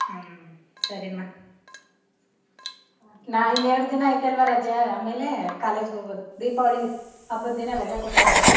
ಹ್ಮ್ ಸರಿಮ . ಇನ್ ಎರಡ ದಿನ ಆಯತೇ ಅಲ್ವಾ ರಜಾ ಆಮೇಲೆ college ಹೋಗೋದು ದೀಪಾವಳಿ ಹಬ್ಬದ್ ದಿನ ರಜಾ ಕೊಟ್ಟವರಲ್ಲ.